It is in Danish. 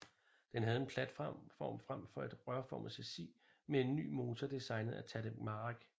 Den havde en platform frem for et rørformet chassis med en ny motor designet af Tadek Marek